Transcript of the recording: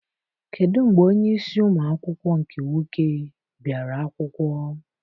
Kedụ mgbe onyeisi ụmụ akwụkwọ nke nwoke biara akwụkwọ?